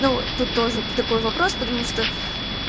ну тут тоже такой вопрос потому что